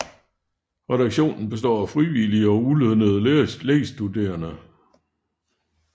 Redaktionen består af frivillige og ulønnede lægestuderende